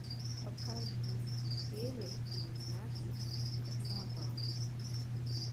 покажи серия девятнадцать карнавал